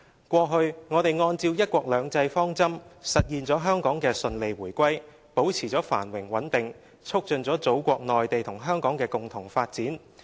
過去，我們按照'一國兩制'方針，實現了香港的順利回歸，保持了繁榮穩定，促進了祖國內地與香港的共同發展。